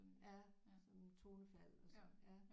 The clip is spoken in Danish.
Ja sådan tonefald og sådan ja